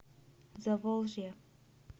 заволжье